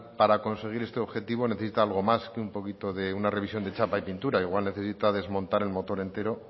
para conseguir este objetivo necesita algo más que un poquito de una revisión de chapa y pintura igual necesita desmontar el motor entero